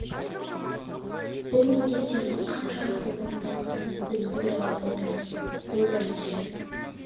бұл міндеттердің қаншалықты орындалғанын біз көре алмай отырмыз бұл бірінші